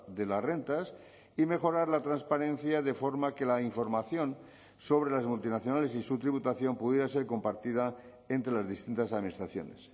de las rentas y mejorar la transparencia de forma que la información sobre las multinacionales y su tributación pudiera ser compartida entre las distintas administraciones